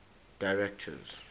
directors